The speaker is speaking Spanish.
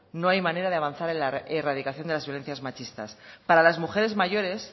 no hay manera de avanzar en la erradicación de las violencias machistas para las mujeres mayores